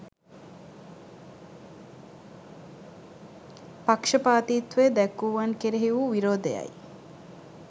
පක්ෂපාතිත්වය දැක්වූවන් කෙරෙහි වූ විරෝධය යි.